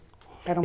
Eram